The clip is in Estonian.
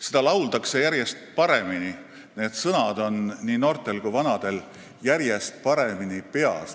Seda lauldakse järjest paremini, sõnad on nii noortel kui ka vanadel järjest paremini peas.